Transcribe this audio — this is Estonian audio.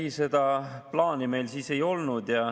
Ei, seda plaani meil siis ei olnud.